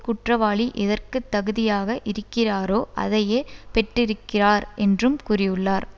குற்றவாளி எதற்கு தகுதியாக இருக்கிறாரோ அதையே பெற்றிருக்கிறார் என்றும் கூறியுள்ளார்